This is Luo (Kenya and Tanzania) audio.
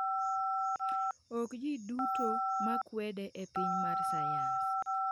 Ok ji duto ma kwede e piny mar sayans.